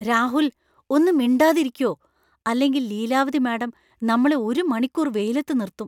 രാഹുൽ! ഒന്ന് മിണ്ടാതിരിയ്‌ക്കോ, അല്ലെങ്കിൽ ലീലാവതി മാഡം നമ്മളെ ഒരു മണിക്കൂർ വെയിലത്ത് നിർത്തും .